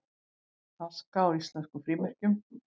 Aska á íslenskum frímerkjum